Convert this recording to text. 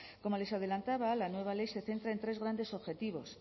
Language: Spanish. como les adelantaba la nueva ley se centra en tres grandes objetivos